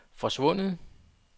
forsvundet